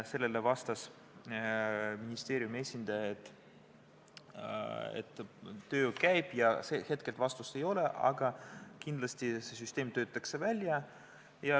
Sellele vastas ministeeriumi esindaja, et töö käib, hetkel vastust ei ole, aga kindlasti see süsteem töötatakse välja.